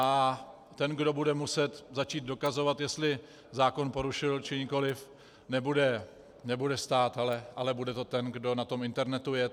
A ten, kdo bude muset začít dokazovat, jestli zákon porušil, či nikoli, nebude stát, ale bude to ten, kdo na tom internetu je.